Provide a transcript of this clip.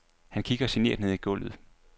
Han kigger genert ned i gulvet.